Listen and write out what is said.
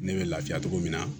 Ne bɛ lafiya togo min na